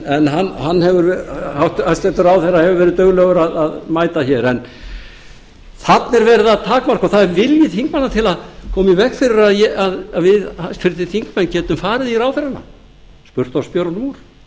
en hæstvirtur ráðherra hefur verið duglegur að mæta hér en þarna er verið að takmarka og það er vilji þingmanna til að koma í veg fyrir að við háttvirtir þingmenn getum farið í ráðherrana spurt þá spjörunum úr